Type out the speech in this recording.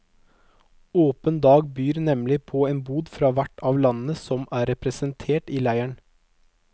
Åpen dag byr nemlig på en bod fra hvert av landene som er representert i leiren.